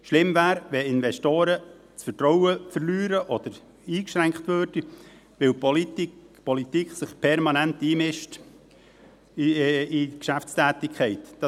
Schlimm wäre, wenn Investoren das Vertrauen verlieren würden oder eingeschränkt würden, weil die Politik sich permanent in die Geschäftstätigkeit einmischt.